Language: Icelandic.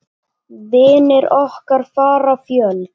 Vinir okkar fara fjöld.